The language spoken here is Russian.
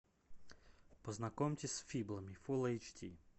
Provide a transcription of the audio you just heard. познакомьтесь с фиблами фул эйч ди